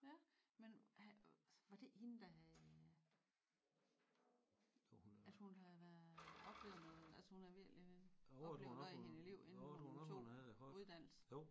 Ja men var det ikke hende der havde at hun havde været oplevet noget at hun havde virkelig oplevet noget inden i hende liv inden hun tog uddannelsen?